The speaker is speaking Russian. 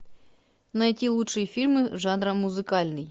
найти лучшие фильмы жанра музыкальный